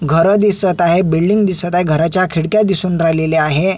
घरं दिसत आहे बिल्डिंग दिसत आहे घराच्या खिडक्या दिसून राहिलेल्या आहे.